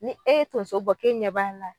Ni e ye tonso bɔ k'e ɲɛ b'a la